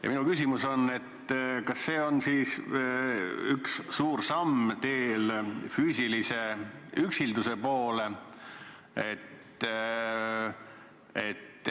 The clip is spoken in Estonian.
Ja minu küsimus on: kas see on üks suur samm teel füüsilise üksilduse poole?